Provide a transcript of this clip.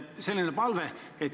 Selline palve.